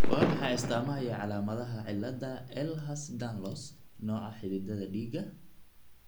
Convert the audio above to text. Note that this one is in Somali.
Waa maxay astamaha iyo calaamadaha cilada Ehlers Danlos , nooca xididdada dhiigga?